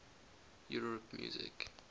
europe music